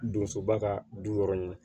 Donsoba ka du yɔrɔ in na